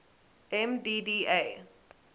mdda